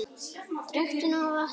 Drekktu nóg af vatni.